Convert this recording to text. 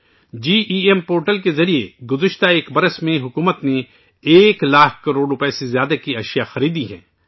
جی E M portal کے ذریعے پچھلے ایک سال میں حکومت نے ایک لاکھ کروڑ روپئے سے زیادہ کی چیزیں خریدی ہیں